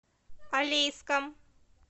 алейском